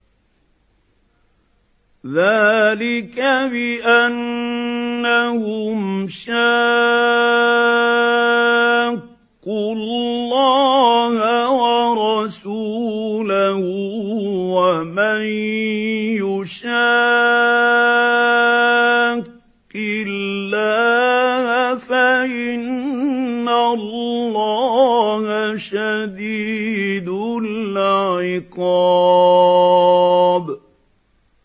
ذَٰلِكَ بِأَنَّهُمْ شَاقُّوا اللَّهَ وَرَسُولَهُ ۖ وَمَن يُشَاقِّ اللَّهَ فَإِنَّ اللَّهَ شَدِيدُ الْعِقَابِ